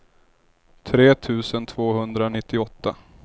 tre tusen tvåhundranittioåtta